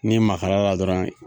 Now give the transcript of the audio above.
N'i magal'a la dɔrɔn